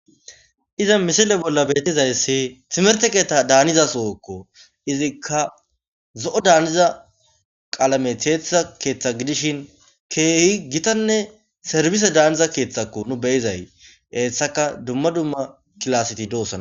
Hiza misile bolla betizayssi timerte keeththa daaniza sowokko izikka zo'o daaniza qalame teethiza keeththa gidishin keehi gitanne serbise daaniza keeththakko nu beyizay eessaka dumma dumma kilaseti doosana.